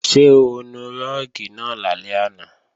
Ṣé o nu rúùgì náà lálẹ́ àná?